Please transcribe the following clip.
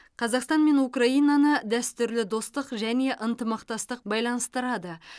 қазақстан мен украинаны дәстүрлі достық және ынтымақтастық байланыстырады